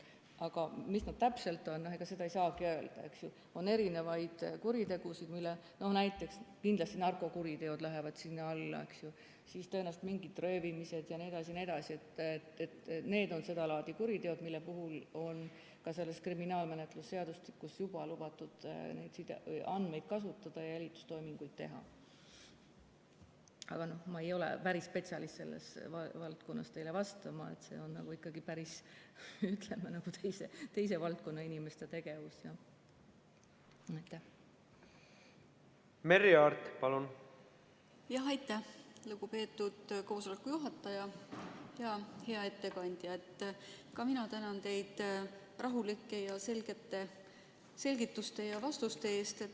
Ka mina tänan teid rahulike ja selgete selgituste ja vastuste eest!